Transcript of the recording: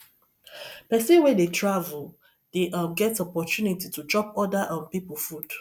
pesin wey dey travel dey um get opportunity to chop oda um pipo food